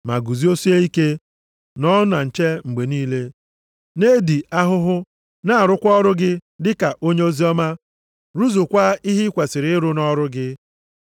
Ma guzosie ike, nọọ na nche mgbe niile, na-edi ahụhụ, na-arụkwa ọrụ gị dịka onye oziọma. Rụzukwaa ihe ị kwesiri ịrụ nʼọrụ gị.